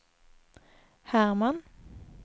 Herman